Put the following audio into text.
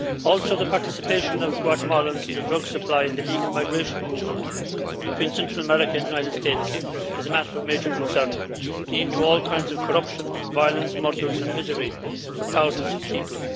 Also, the participation of Guatemalans in the drug supply and illegal migration route between Central America and the United States is a matter of major concern, leading to all kinds of corruption, violence, murders and misery for thousands of people.